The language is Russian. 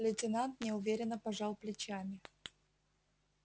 лейтенант неуверенно пожал плечами